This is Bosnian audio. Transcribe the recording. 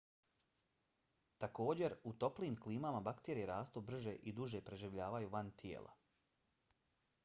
također u toplijim klimama bakterije rastu brže i duže preživljavaju van tijela